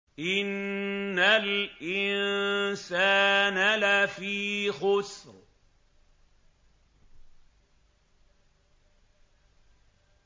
إِنَّ الْإِنسَانَ لَفِي خُسْرٍ